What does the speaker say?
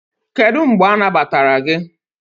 Kedu mgbe anagbatara gị?